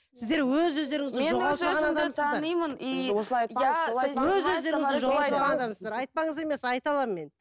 айтпаңыз емес айта аламын мен